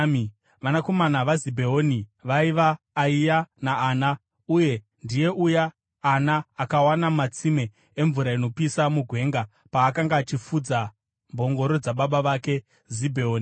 Vanakomana vaZibheoni vaiva: Ayia naAna. Uyu ndiye uya Ana akawana matsime emvura inopisa mugwenga paakanga achifudza mbongoro dzababa vake Zibheoni.